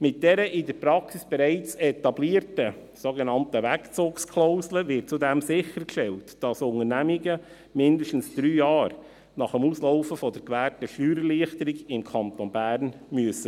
Mit dieser in der Praxis bereits etablierten sogenannten Wegzugsklausel wird zudem sichergestellt, dass Unternehmungen mindestens 3 Jahre nach dem Ablaufen der gewährten Steuererleichterung im Kanton Bern verbleiben müssen.